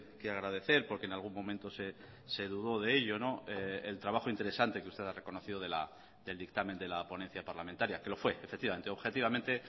que agradecer porque en algún momento se dudó de ello el trabajo interesante que usted ha reconocido del dictamen de la ponencia parlamentaria que lo fue efectivamente objetivamente